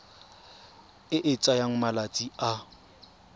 e e tsayang malatsi a